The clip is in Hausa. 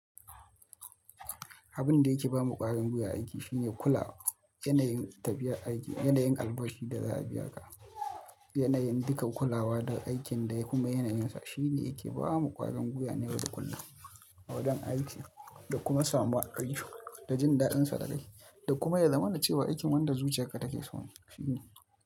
Abin da yake ba ma ƙwarin guya aiki shine kula yanayin tafiya aiki, yanayin albashi da za a biya ka, yanayin dukan kulawa da aikin da kuma yanayinsa shine yake ba mu ƙwarin guiwa na yau da kullum a wajen aikin da kuma samuwar aikin da jin daɗin sa da kai da kuma ya zamana da cewa aikin wanda zuciyarka take so ne shine.